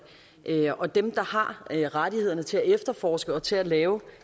end vi er og dem der har rettighederne til at efterforske og til at lave